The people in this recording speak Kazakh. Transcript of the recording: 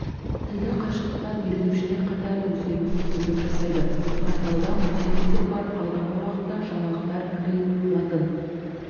тілді қашықтықтан үйренушілер қатарын өсіруге мүмкіндік жасайды порталда мультфильмдер бар алдағы уақытта жаңалықтар кирилл латын